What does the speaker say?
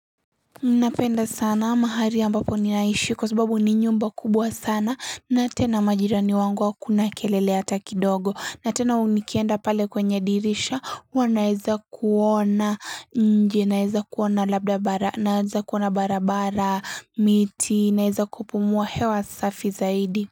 Unapenda sana mahali ambapo ninaishi kwa sababu ni nyumba kubwa sana na tena majirani wangu hakuna kelele hata kidogo na tena u nikienda pale kwenye dirisha wanaeza kuona nje naeza kuona labda bara naeza kuona barabara miti naeza kupumua hewa safi zaidi.